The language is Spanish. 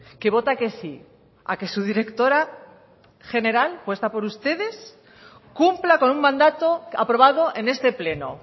que vota que sí a que su directora general puesta por ustedes cumpla con un mandato aprobado en este pleno